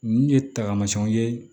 N ye tagamasiyɛnw ye